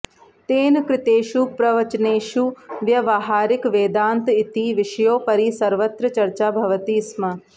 तेन कृतेषु प्रवचनेषु व्यवहारिकवेदान्त इति विषयोपरि सर्वत्र चर्चा भवति स्म